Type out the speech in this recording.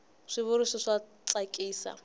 swi vuriso swa tsakisa